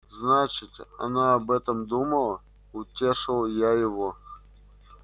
значит она об этом думала утешил я его